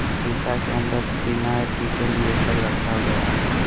और सीसा के अंदर थीनर डीजल ये सब रखा गया है।